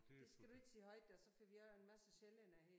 Det skal du ikke sige højt der så får vi også en masse sjællændere her i